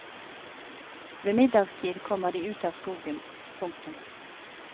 Ved middagstid kommer de ut av skogen. punktum